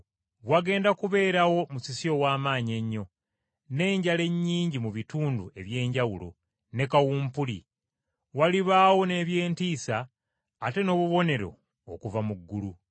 Wagenda kubeerawo musisi ow’amaanyi ennyo, n’enjala ennyingi mu bitundu eby’enjawulo, ne kawumpuli. Walibaawo n’ebyentiisa ate n’obubonero okuva mu ggulu.